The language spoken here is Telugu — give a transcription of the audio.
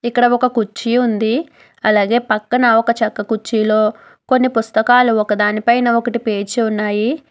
ఇక్కడ ఒక కుర్చీ ఉంది అలాగే పక్కన ఒక చెక్క కుర్చీలో కొన్ని పుస్తకాలు ఒకదాని పైన ఒకటి పేర్చి ఉన్నాయి.